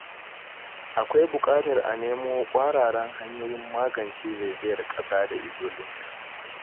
Akwai buƙatar a nemo ƙwararan hanyoyin magance zaizayar ƙasa da illolinta.